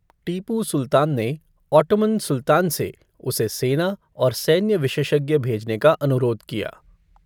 टीपू सुल्तान ने ओट्टोमान सुल्तान से उसे सेना और सैन्य विशेषज्ञ भेजने का अनुरोध किया।